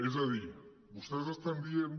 és a dir vostès estan dient